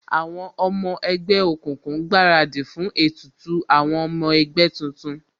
Àwọn ọmọ ẹgbẹ́ òkùnkùn ń gbaradì fún ètùtù àwọn ọmọ ẹgbẹ́ tuntun